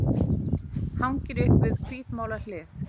Hangir upp við hvítmálað hlið.